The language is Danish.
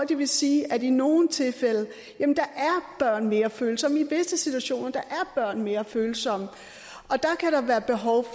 de vil sige at i nogle tilfælde er børn mere følsomme at i visse situationer er børn mere følsomme